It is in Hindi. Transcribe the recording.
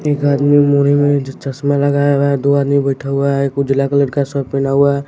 एक आदमी मोनी में चश्मा लगाया हुआ है दो आदमी बैठा हुआ है एक उजला कलर का सर्ट पहना हुआ है।